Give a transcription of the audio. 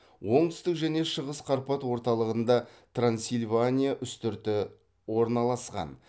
оңтүстік және шығыс қарпат орталығында трансильвания үстірті орналасқан